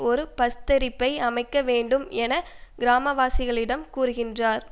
ஒரு பஸ்தரிப்பை அமைக்க வேண்டும் என கிராமவாசிகளிடம் கூறுகின்றார்